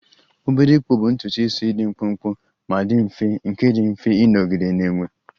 Obere ịkpụ bụ ntutu isi dị mkpụmkpụ ma dị mfe nke dị mfe ịnọgide na-enwe